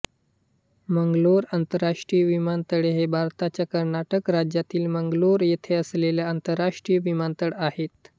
मंगलोर आंतरराष्ट्रीय विमानतळहे भारताच्या कर्नाटक राज्यात मंगलोर येथे असलेले आंतरराष्ट्रीय विमानतळ आहे